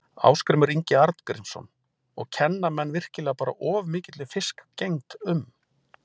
Ásgrímur Ingi Arngrímsson: Og kenna menn virkilega bara of mikilli fiskgengd um?